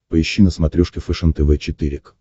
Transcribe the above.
поищи на смотрешке фэшен тв четыре к